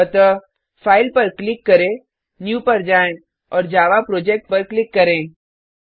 अतः फाइल पर क्लिक करें न्यू पर जाएँ और जावा प्रोजेक्ट पर क्लिक करें